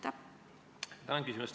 Tänan küsimuse eest!